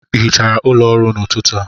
Ị hichara ụlọ ọrụ a n'ụtụtụ a?